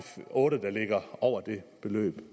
otte der ligger over det beløb